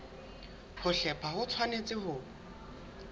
ho hlepha ho tshwanetse ho